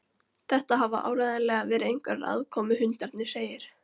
Þetta hafa áreiðanlega verið einhverjir aðkomuhundarnir segir